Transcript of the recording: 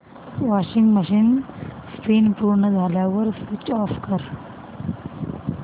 washing machine spin पूर्ण झाल्यावर switch off कर